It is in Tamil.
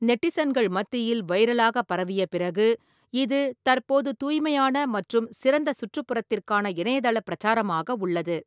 நெட்டிசன்கள் மத்தியில் வைரலாக பரவிய பிறகு, இது தற்போது தூய்மையான மற்றும் சிறந்த சுற்றுப்புறத்திற்கான இணையதள பிரச்சாரமாக உள்ளது.